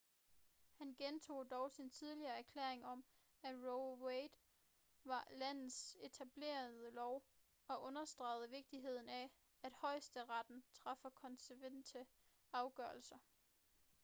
han gentog dog sin tidligere erklæring om at roe v wade var landets etablerede lov og understregede vigtigheden af at højesteretten træffer konsekvente afgørelser